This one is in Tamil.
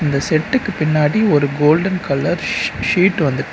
இந்த செட்டுக்கு பின்னாடி ஒரு கோல்டன் கலர் ஷீ ஷீட் வந்து--